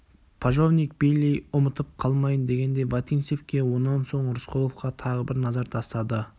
пожовник бейли ұмытып қалмайын дегендей вотинцевке онан соң рысқұловқа тағы бір назар тастады